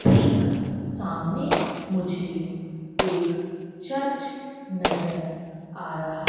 ठीक सामने मुझे एक चर्च नज़र आ रहा।